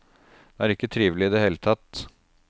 Det er ikke trivelig i det hele tatt.